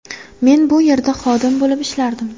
Men bu yerda xodim bo‘lib ishlardim.